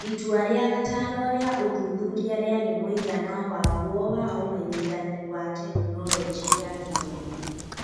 Itua rĩa gatano rĩa ũthuthuria rĩarĩ mũigana wagwo na ũmenyithani wa Tekinoronjĩ ya Gĩthomo.